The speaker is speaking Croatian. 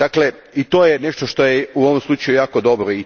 Dakle, i to je nešto što je u ovom slučaju jako dobro.